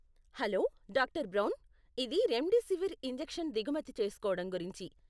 Hello doctor Brown. ఇది remdesivir injection దిగుమతి చేస్కోడం గురించి.